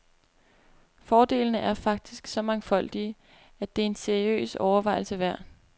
Fordelene er faktisk så mangfoldige, at det er en seriøs overvejelse værd.